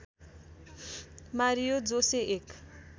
Mario Jose एक